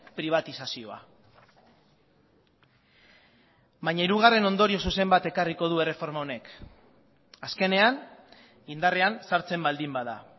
pribatizazioa baina hirugarren ondorio zuzen bat ekarriko du erreforma honek azkenean indarrean sartzen baldin bada